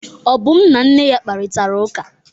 Obum na nne ya kparịtara ụka.